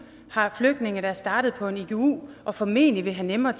har flygtninge der er startet på en igu og formentlig vil have nemmere